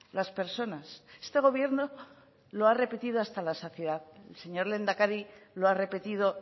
las personas este gobierno lo ha repetido hasta la saciedad el señor lehendakari lo ha repetido